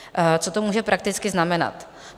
Co to může prakticky znamenat?